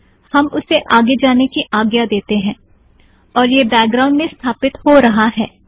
हम उसे आगे जाने की आज्ञा देंगे और यह बैकग्राउंड में स्थापित हो रहा है